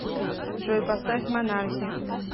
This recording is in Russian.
джой поставь монархи